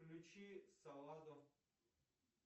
включи саладов